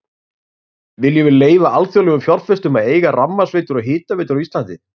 Viljum við leyfa alþjóðlegum fjárfestum að eiga rafmagnsveitur og hitaveitur á Íslandi?